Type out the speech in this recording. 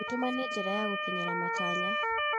Gwĩtũma nĩ njĩra ya gũkinyĩra matanya.